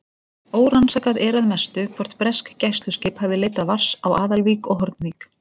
Órannsakað er að mestu, hvort bresk gæsluskip hafi leitað vars á Aðalvík og Hornvík.